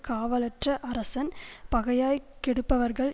காவலற்ற அரசன் பகையாய்க் கெடுப்பவர்கள்